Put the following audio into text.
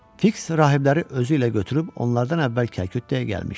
Fiks rahibləri özü ilə götürüb onlardan əvvəl Kalkuttaya gəlmişdi.